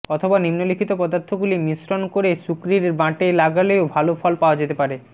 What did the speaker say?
অথবা নিম্ন লিখিত পদার্থগুলি মিশ্রণ করে শুকরীর বাঁটে লাগলেও ভালো ফল পাওয়া যেতে পারে